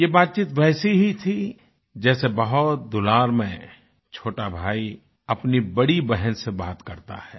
ये बातचीत वैसे ही थी जैसे बहुत दुलार में छोटा भाई अपनी बड़ी बहन से बात करता है